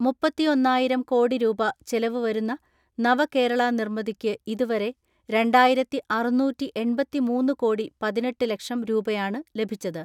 മുപ്പത്തിയൊന്നായിരം കോടി രൂപ ചെലവ് വരുന്ന നവകേരള നിർമ്മിതിക്ക് ഇതുവരെ രണ്ടായിരത്തിഅറുന്നൂറ്റിഎണ്‍പത്തിമൂന്ന് കോടി പതിനെട്ട് ലക്ഷം രൂപയാണ് ലഭിച്ചത്.